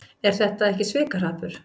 Er þetta ekki svikahrappur?